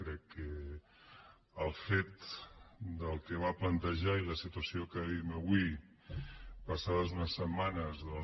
crec que el fet del que va plantejar i la situació que vivim avui passades unes setmanes doncs